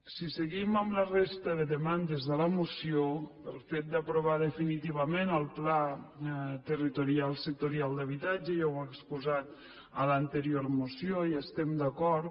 si seguim amb la resta de demandes de la moció amb el fet d’aprovar definitivament el pla territorial sectorial d’habitatge ja ho he exposat a l’anterior moció hi estem d’acord